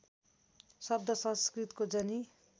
शब्द संस्कृतको जनि